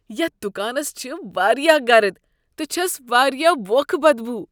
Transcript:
یتھ دکانس چھےٚ واریاہ گرٕد تہٕ چھس واریاہ ووکھہ بدبو۔